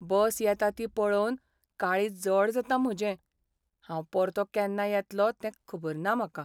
बस येता ती पळोवन काळीज जड जाता म्हजें. हांव परतो केन्ना येतलो तें खबर ना म्हाका.